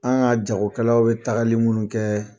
An ka jagokɛlaw bɛ taagali minnu kɛ